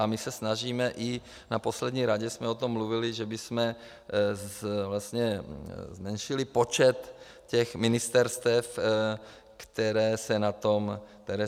A my se snažíme - i na poslední radě jsme o tom mluvili - že bychom zmenšili počet těch ministerstev, které se na tom podílejí.